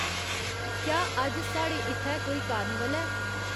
क्या अज्ज साढ़े इत्थै कोई कार्निवल ऐ